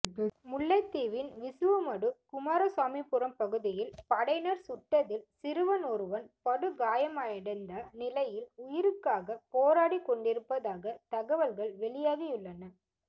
முல்லைத்தீவின் விசுவமடு குமாரசாமிபுரம் பகுதியில் படையினர் சுட்டதில் சிறுவன் ஒருவன் படுகாயமடைந்த நிலையில் உயிருக்காக போராடிக் கொண்டிருப்பதாக தகவல்கள் வெளியாகியுள்ளன